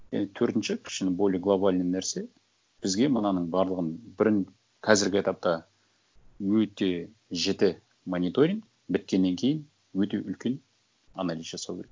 енді төртінші кішкене более глобальный нәрсе бізге мынаның барлығын бірін қазіргі этапта өте жіті мониторинг біткеннен кейін өте үлкен анализ жасау керек